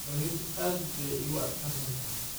Berrito aad bay iigu adkaan doontaa